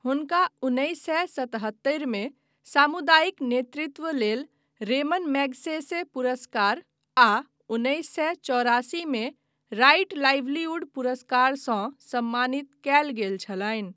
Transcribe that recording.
हुनका उन्नैस सए सतहत्तरि मे सामुदायिक नेतृत्व लेल रेमन मैगसेसे पुरस्कार आ उन्नैस सए चौरासी मे राइट लाइवलीहुड पुरस्कार सँ सम्मानित कयल गेल छलनि ।